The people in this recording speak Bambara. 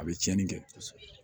A bɛ tiɲɛni kɛ